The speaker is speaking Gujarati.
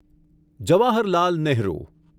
જવાહરલાલ નેહરુ